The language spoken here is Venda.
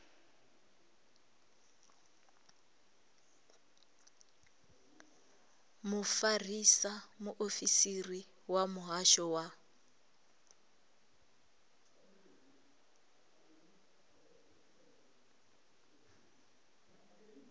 mufarisa muofisiri wa muhasho wa